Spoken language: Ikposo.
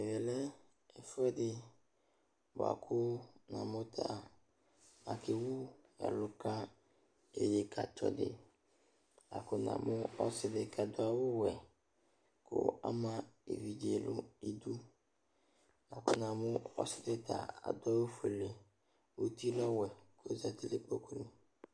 Ɛmɛlɛ ɛfʋɛdi bʋakʋ namʋ ta akewʋ ɛlʋ ka edekatsɔdi, lakʋ namʋ ɔsidi kʋ adʋ awʋwɛ kʋ ama evidze nʋ idʋ lakʋ namʋ ɔsidi adʋ awʋfuele ʋti lɛ ɔwɛ ɔzati nʋ ikpokʋ